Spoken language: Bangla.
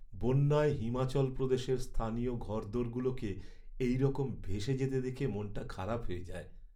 বন্যায় হিমাচল প্রদেশের স্থানীয় ঘরদোরগুলোকে এইরকম ভেসে যেতে দেখে মনটা খারাপ হয়ে যায়।